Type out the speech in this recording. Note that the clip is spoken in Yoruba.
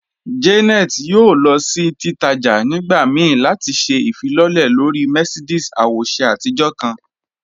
Janet yóò lọ sí títàjà̀ nígbà míí láti ṣẹ̀ ifilọlẹ̀ lọ̀rí Mercedes àwòṣè àtijọ̀ kan.